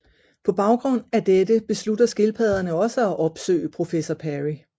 På baggrund af dette beslutter skildpadderne også at opsøge professor Perry